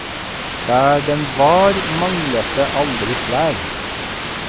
Der den var, manglet det aldri klær.